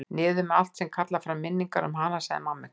Niður með allt sem kallar fram minningar um hana, sagði mamma ykkar.